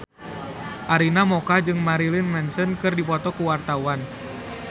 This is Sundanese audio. Arina Mocca jeung Marilyn Manson keur dipoto ku wartawan